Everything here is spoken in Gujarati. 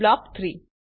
બ્લોક ૩